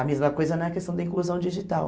A mesma coisa na questão da inclusão digital.